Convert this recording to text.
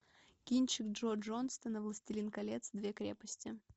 кинчик джо джонстона властелин колец две крепости